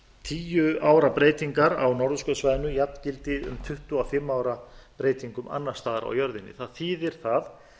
tíu ára breytingar á norðurskautssvæðinu jafngildi um tuttugu og fimm ára breytingum annars staðar á jörðinni að þýðir það